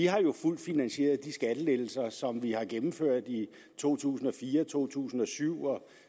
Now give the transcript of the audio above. har vi fuldt finansieret de skattelettelser som vi har gennemført i to tusind og fire to tusind og syv og